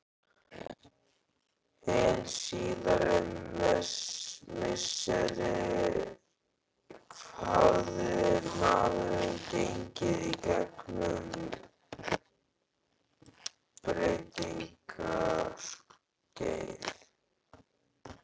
Hin síðari misseri hafði maðurinn gengið í gegn um breytingaskeið.